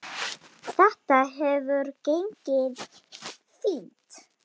Þetta hefur gengið fínt.